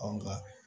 An ka